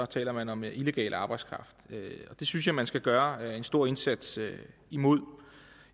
taler man om illegal arbejdskraft og det synes jeg man skal gøre en stor indsats mod